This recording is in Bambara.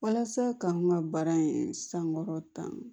Walasa k'an ka baara in sankɔrɔta